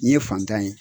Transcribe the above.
Nin ye fantan ye